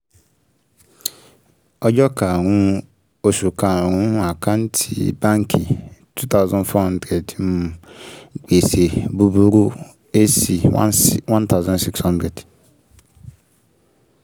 ọjọ́ karùn-ún oṣù karùn-ún àkántì báǹkì two thousand four hundred um gbèsè búburú a/c sixteen one thousand six hundred